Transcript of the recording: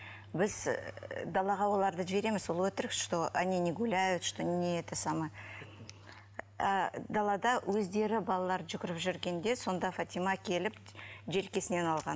біз і далаға оларды жібереміз ол өтірік что они не гуляют что не это самое і далада өздері балалар жүгіріп жүргенде сонда фатима келіп желкесінен алған